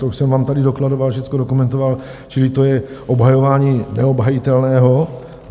To už jsem vám tady dokladoval, všecko dokumentoval, čili to je obhajování neobhajitelného.